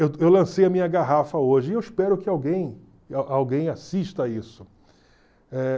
Eu eu lancei a minha garrafa hoje e eu espero que alguém a alguém assista a isso. Eh